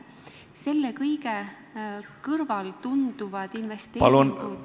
Selle kõige kõrval tunduvad investeeringud ...